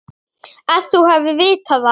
Að þú hafir vitað það.